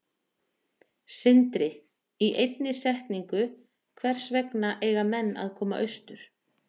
Sindri: Í einni setningu, hvers vegna eiga menn að koma austur?